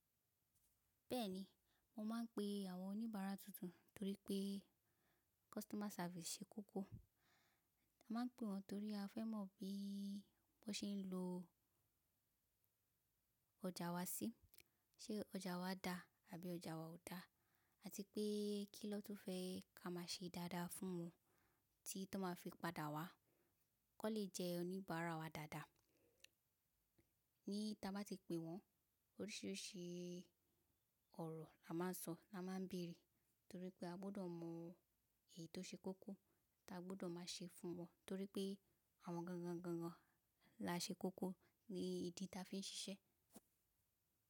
Bẹ́ẹ̀ ni, mo máa ń pe àwọn oníbàárà tuntun torí pé customer service ṣe kókó. Mo máa ń pe wọn torí a fẹ́ mọ̀ bí wọ́n ṣe ń lo ọjà wa sí, ṣe ọjà wa dà àbí ọjà wa ò dà àti pé kí ni wọn tun fẹ́ ká má a ṣe dáadáa fún wọn tí, tíwọn máa fi padà wá ki wọn lè jẹ́ oníbàárà wa dáadáa. Ní tí a bá ti pe wọn, oríṣiríṣi ọ̀rọ̀ la máa ń sọ, la máa ń bèrè torí pé a gbọ́dọ̀ mọ èyí tó ṣe kókó tí a gbọ́dọ̀ máa ṣe fún wọn torí pé àwọn gangan gangan la ṣe kókó ni ìdí tí a fi ń ṣiṣẹ́.